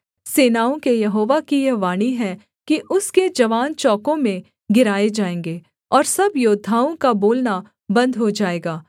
सेनाओं के यहोवा की यह वाणी है कि उसके जवान चौकों में गिराए जाएँगे और सब योद्धाओं का बोलना बन्द हो जाएगा